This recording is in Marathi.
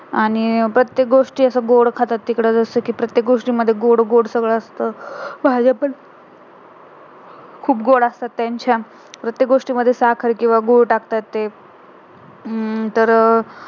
आणि प्रत्येक गोष्टी असं गोड खातात तिकडं जसं कि प्रत्येक गोष्टी मध्ये गोड गोड सगळं असत भाज्या पण खूप गोड असतात त्यांच्या प्रत्येक गोष्टी मध्ये साखर किंवा गुड टाकतात ते हम्म तर